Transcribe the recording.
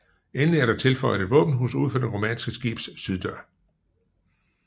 Endelig er der tilføjet et våbenhus ud for det romanske skibs syddør